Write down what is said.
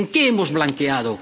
¿En qué hemos blanqueado?